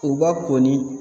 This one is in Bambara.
U b'a ko ni